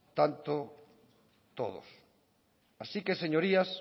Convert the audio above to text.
tanto todos así que señorías